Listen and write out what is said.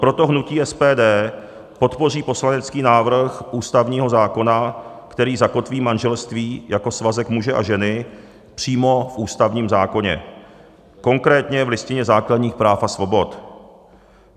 Proto hnutí SPD podpoří poslanecký návrh ústavního zákona, který zakotví manželství jako svazek muže a ženy přímo v ústavním zákoně, konkrétně v Listině základních práv a svobod.